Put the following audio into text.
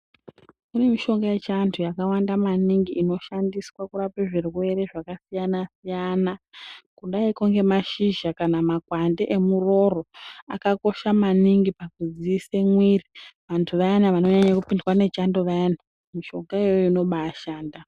Kune yechiandu yakawanda maningi inoshandiswa kurape zvirwere zvakasiyana siyana kudayiko ngemashizha kana makwande emurooro akakosha maningi pakudziisa mwiri andu vayana vanonyanya kupindwa ngechando vayana mishonga yona iyoyo inobashanda.